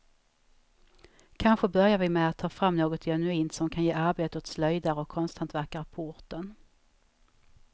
Kanske börjar vi med att ta fram något genuint, som kan ge arbete åt slöjdare och konsthantverkare på orten.